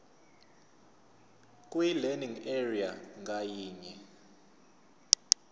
kwilearning area ngayinye